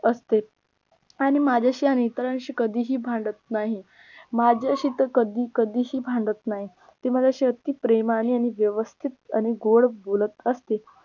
असते आणि माझ्याशी आणि इतरांशी कधीही भांडत नाही माझ्याशी तर कधी कधीही भांडत नाही ती माझ्याशी अती प्रेमानी आणि व्यवस्थित आणि गोड बोलत असते